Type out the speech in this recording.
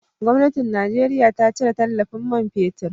Gwamnatin Najeriya ta cire tallafin man fetir.